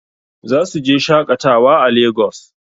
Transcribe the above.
Zasu je shaƙatawa a Lagos.